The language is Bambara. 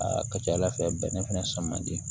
Aa ka ca ala fɛ bɛnɛ fɛnɛ sɔn man di